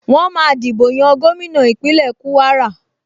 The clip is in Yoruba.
Wọ́n máa dìbò yan gómìnà Ìpínlẹ̀ Kúwárà